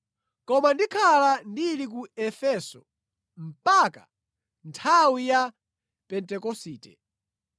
Koma ndikhala ndili ku Efeso mpaka nthawi ya Pentekosite,